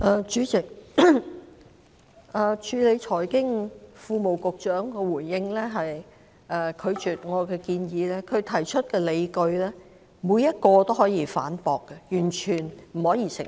主席，財經事務及庫務局局長的回應，是拒絕了我的建議，但他提出的理據，每一個也可以反駁，是完全不能成立的。